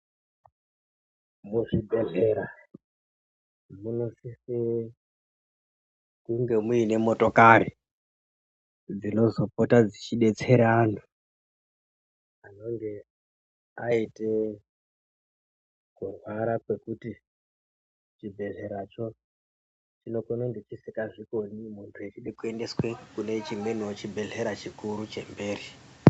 Muzvibhehlera munosise kunge muine motokari dzinozopota dzeidetsera antu anenge aite kurwara kwekuti chibhehleracho chinenge chisikazvikoni muntu echide kuendeswe kune chimweniwo chibhehlera chikuru chemberi.